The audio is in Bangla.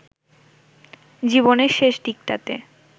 জীবনের শেষ দিকটাতে